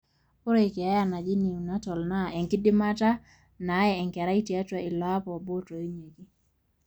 ore ina keeya naji neonatal naa enkidimata naye enkerai tiatwa ilo apa obo otoinyieki